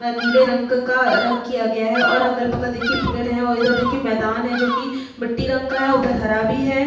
नीले रंग का रंग किया गया है और अगल-बगल देखिए पेड़ हैं और इधर देखिए मैदान हैं जो कि मिट्टी रंग का है उधर हरा भी है।